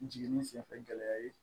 Jiginni senfɛ gɛlɛya ye